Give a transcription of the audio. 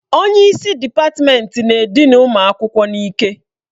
Onye isi dịpatmenti na-edina ụmụ akwụkwọ n'ike.